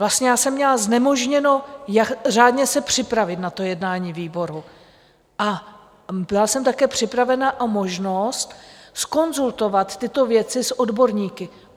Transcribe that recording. Vlastně já jsem měla znemožněno řádně se připravit na to jednání výboru a byla jsem také připravena o možnost zkonzultovat tyto věci s odborníky.